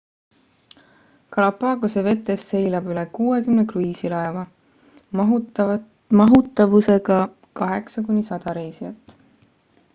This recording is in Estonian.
galapagose vetes seilab üle 60 kruiisilaeva mahutavusega 8 kuni 100 reisijat